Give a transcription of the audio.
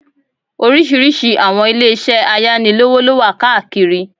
Oríṣiríṣi àwọn ilé isẹ́ ayánilówó lówà káàkiri